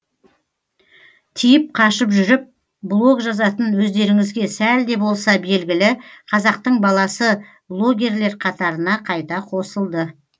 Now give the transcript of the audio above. тиіп қашып жүріп блог жазатын өздеріңізге сәл де болса белгілі қазақтың баласы блогерлер қатарына қайта қосылды